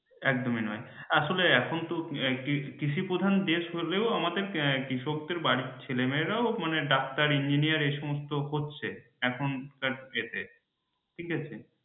একদমই নয়, আসলে এখন তো কৃষিপ্রধান দেশ হলেও আমাদের কৃষক দের বাড়ির ছেলে মেয়েরাও মানে ডাক্তার engineer এসমস্ত হচ্ছে এখনকার date এ ঠিক আছে।